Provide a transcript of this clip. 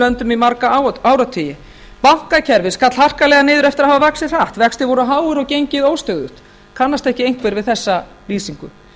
löndum í marga áratugi bankakerfið skall harkalega niður eftir að hafa vaxið hratt vextir voru háir og gengið óstöðugt kannast ekki einhver við þessa lýsingu